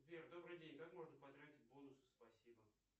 сбер добрый день как можно потратить бонусы спасибо